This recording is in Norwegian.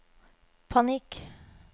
panikk